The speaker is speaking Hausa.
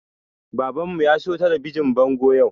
Baban mu ya siyo talabijin bango yau